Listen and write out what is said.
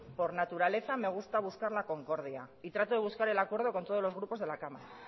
por naturaleza me gusta buscar la concordia y trato de buscar el acuerdo con todos los grupos de la cámara